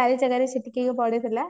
ଚାରିଜଗାରେ ଛିଟିକିକି ପଡିଥିଲା